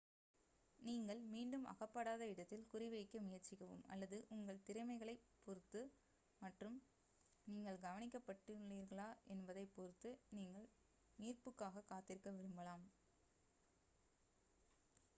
நீங்கள் மீண்டும் அகப்படாத இடத்தில் குறிவைக்க முயற்சிக்கவும் அல்லது உங்கள் திறமைகளைப் பொறுத்து மற்றும் நீங்கள் கவனிக்கப்பட்டுள்ளீர்களா என்பதைப் பொறுத்து நீங்கள் மீட்புக்காகக் காத்திருக்க விரும்பலாம்